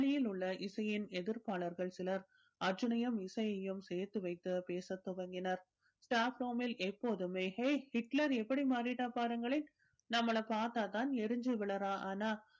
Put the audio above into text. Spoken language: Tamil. பள்ளியில் உள்ள இசையின் எதிர்ப்பாளர்கள் சிலர் அர்ஜூனையும் இசையையும் சேர்த்து வைத்து பேசத் துவங்கினர் staff room ல் எப்பொழுதுமே ஹே ஹிட்லர் எப்படி மாறிட்டா பாருங்களேன் நம்மள பார்த்தா தான் எரிஞ்சு விழறா ஆனா